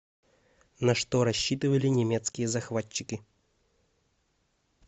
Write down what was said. на что рассчитывали немецкие захватчики